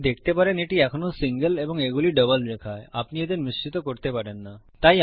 আপনি দেখতে পারেন এটি এখনো সিঙ্গেল এবং এগুলি ডবল রেখা আপনি এদের মিশ্রিত করতে পারেন না